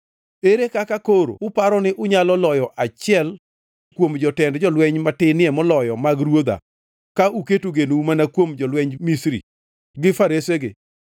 Ere kaka koro uparo ni unyalo loyo achiel kuom jotend jolweny matinie moloyo mag ruodha ka uketo genou mana kuom jolwenj Misri gi faresegi?